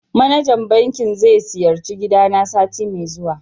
manajan banking ze siyarci gidana sati me zuwa.